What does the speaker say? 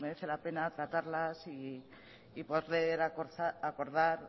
merece la pena tratarlas y poder acordar